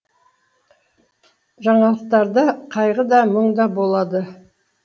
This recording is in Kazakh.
жаңалықтарда қайғы да мұң да болады